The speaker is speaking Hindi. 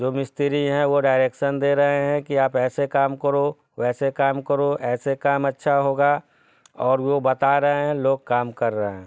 जो मिस्त्री है वो डाइरेक्सन दे रहे है कि आप ऐसे काम करो वेसे काम करो ऐसे काम अच्छा होगा और वो बता रहे है| लोग काम कर रहे हैं ।